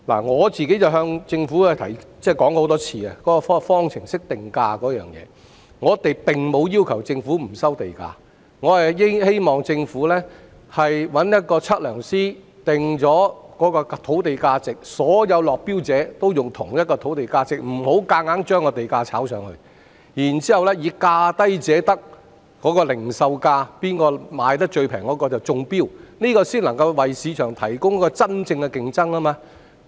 我已多次向政府提出有關方程式定價的意見，我們並沒有要求政府不收地價，我們只希望政府請測量師訂定土地價值，讓所有落標者均採用同一個土地價值，不要強行將地價炒高，然後以價低者得，即零售價最便宜者中標，這樣才能夠為市場提供一個公平競爭的環境。